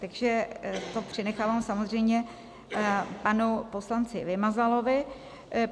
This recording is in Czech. Takže to přenechávám samozřejmě panu poslanci Vymazalovi.